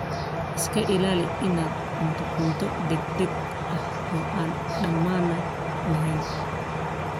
Iska ilaali inaad cunto cunto degdeg ah oo aan dammaanad lahayn.